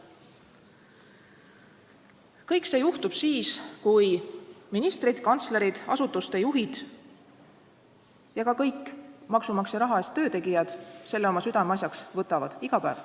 Kõik see juhtub siis, kui ministrid, kantslerid, asutuste juhid ja üldse kõik maksumaksja raha eest töötegijad selle iga päev oma südameasjaks võtavad.